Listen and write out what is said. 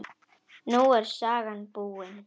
Nú er sagan búin.